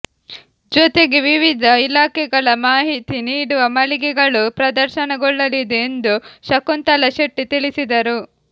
ಜೊತೆಗೆ ವಿವಿಧ ಇಲಾಖೆಗಳ ಮಾಹಿತಿ ನೀಡುವ ಮಳಿಗೆಗಳು ಪ್ರದರ್ಶನಗೊಳ್ಳಲಿದೆ ಎಂದು ಶಕುಂತಳಾ ಶೆಟ್ಟಿ ತಿಳಿಸಿದರು